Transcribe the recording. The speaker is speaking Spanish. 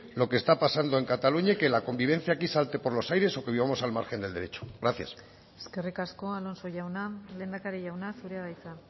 lo que está pasando en cataluña y que la convivencia aquí salte por los aires o que vivamos al margen del derecho gracias eskerrik asko alonso jauna lehendakari jauna zurea da hitza